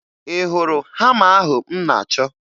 Ị hụrụ hama ahụ m na-achọ?